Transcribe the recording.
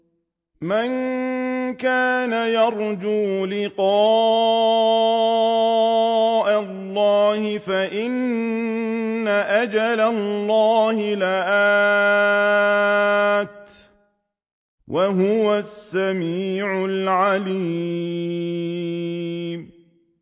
مَن كَانَ يَرْجُو لِقَاءَ اللَّهِ فَإِنَّ أَجَلَ اللَّهِ لَآتٍ ۚ وَهُوَ السَّمِيعُ الْعَلِيمُ